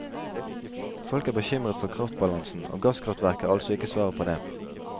Folk er bekymret for kraftbalansen, og gasskraftverk er altså ikke svaret på det.